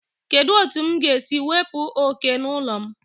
Kedu otu m ga-esi wepụ oke n'ụlọ m?